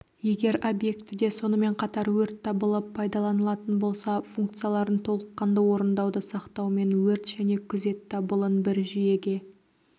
егер объектіде сонымен қатар өрт дабылы пайдаланылатын болса функцияларын толыққанды орындауды сақтаумен өрт және күзет дабылын бір жүйеге